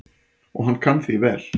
Og hann kann því vel.